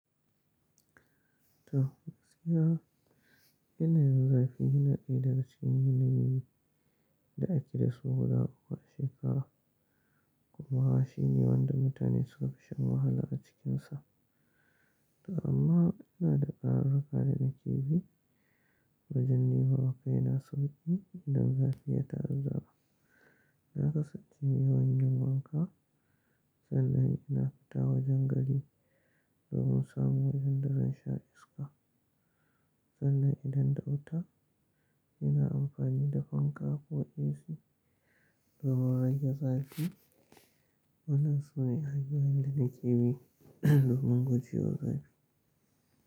To, gaskiya yanayin zafi yana daya daga cikin yanayi da ake da su guda uku a shekara kuma shi ne wanda mutane sukafi shan wahala a cikin sa. Amma ina da ƙararraka da nake bi wajen nema ma kaina sauƙi idan zafi ya fara zuwa. Na kasance mai yawan yin wanka sannan ina fita wajen gari domin samu wajen da zan sha iska. Sannan idan da wuta ina amfani da fanka ko AC domin rage zafi. Wannan sune hanyoyin da nake bi domin guje wa zafi.